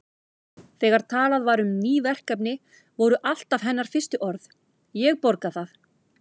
Þegar talað var um ný verkefni voru alltaf hennar fyrstu orð: Ég borga það